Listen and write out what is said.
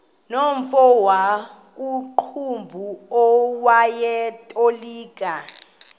nomfo wakuqumbu owayetolika